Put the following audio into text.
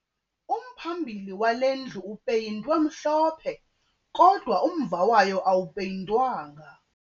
Umphambili wale ndlu upeyintwe mhlophe kodwa umva wayo awupeyintwanga